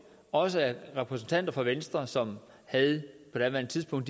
også af repræsentanter for venstre som på daværende tidspunkt